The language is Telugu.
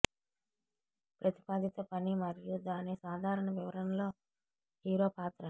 ప్రతిపాదిత పని మరియు దాని సాధారణ వివరణలో హీరో పాత్ర